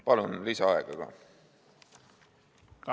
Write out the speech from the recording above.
Palun lisaaega ka!